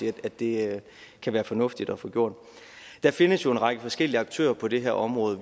i at det kan være fornuftigt at få gjort der findes jo en række forskellige aktører på det her område